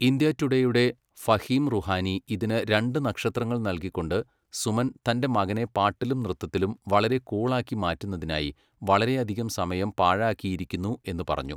India ടുഡേയുടെ ഫഹീം റുഹാനി ഇതിന് രണ്ട് നക്ഷത്രങ്ങൾ നൽകികൊണ്ടു സുമൻ തന്റെ മകനെ പാട്ടിലും നൃത്തത്തിലും വളരെ കൂൾ ആക്കി മാറ്റുന്നതിനായി വളരെയധികം സമയം പാഴാക്കിയിരിക്കുന്നു എന്നു പറഞ്ഞു.